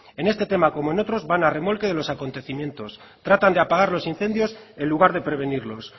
en este tema como en otros van a remolque de los acontecimientos tratan de apagar los incendios en lugar de prevenirlos